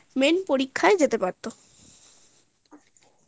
final পরীক্ষায় যেতে পারতো